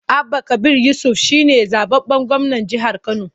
Abba Kabir Yusuf shi ne zaɓaɓɓen gwamnan jihar Kano.